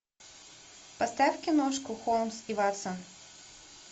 поставь киношку холмс и ватсон